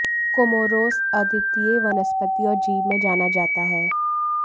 Comoros अद्वितीय वनस्पति और जीव में जाना जाता है